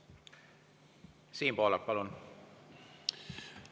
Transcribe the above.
Siim Pohlak, palun!